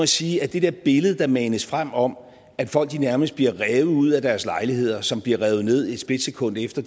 sige at det der billede der manes frem om at folk nærmest bliver revet ud af deres lejligheder som bliver revet ned et splitsekund efter